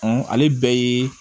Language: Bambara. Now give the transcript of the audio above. ale ye